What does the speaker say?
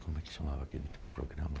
Como é que chamava aquele programa?